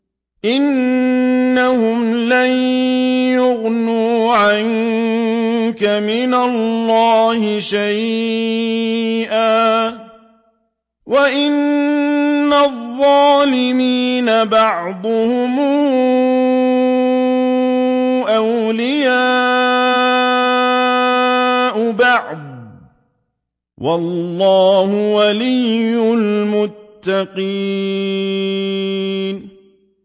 إِنَّهُمْ لَن يُغْنُوا عَنكَ مِنَ اللَّهِ شَيْئًا ۚ وَإِنَّ الظَّالِمِينَ بَعْضُهُمْ أَوْلِيَاءُ بَعْضٍ ۖ وَاللَّهُ وَلِيُّ الْمُتَّقِينَ